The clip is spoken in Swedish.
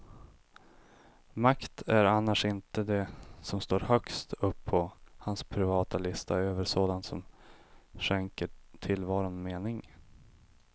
Makt är annars inte det som står högst upp på hans privata lista över sådant som skänker tillvaron mening.